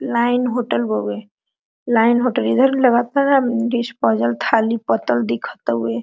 Line hotel हवे line hotel इधर भी लागता डिस्पोजल थाली पत्तल दिखत हवे।